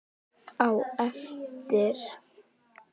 Á eftir.